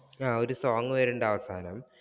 ആഹ് ഒരു song വരുന്നുണ്ട് അവസാനം.